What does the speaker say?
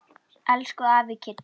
Elsku afi Kiddi.